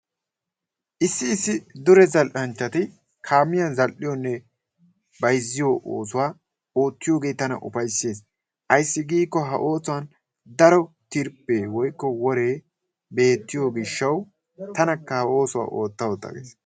issi issi dure zala'anchatti kamiyan za'aliyonne bayziyoo osuwaa ottiyoge tana ufayssees, ayssi gikko he osuwan daro tirppe woyko wore beettiyo gishawu tanaka ha ossuwa ottaa ottaa gees.